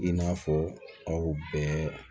I n'a fɔ aw bɛɛ